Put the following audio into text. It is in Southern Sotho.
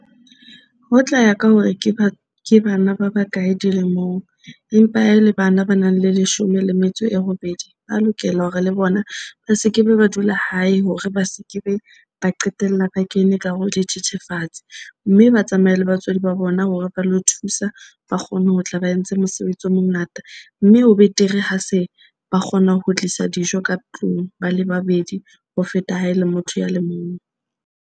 Ho tla ya ka hore ke ba ke bana ba bakae dilemong empa ha e le bana ba nang le leshome le metso e robedi, ba lokela hore le bona ba se ke be ba dula hae hore ba seke be ba qetella ba. Kene ka hare ho dithethefatsi mme ba tsamaye le batswadi ba bona hore ba lo thusa. Ba kgone ho tla ba entse mosebetsi o mongata, mme ho betere ha se ba kgona ho tlisa dijo ka tlung ba le babedi. Ho feta ha e le motho ya le mong.